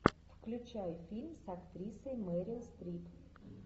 включай фильм с актрисой мерил стрип